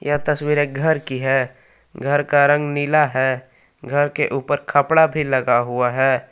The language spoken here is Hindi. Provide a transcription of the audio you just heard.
यह तस्वीर एक घर की है। घर का रंग नीला है। घर के उपर खपड़ा भी लगा हुआ है।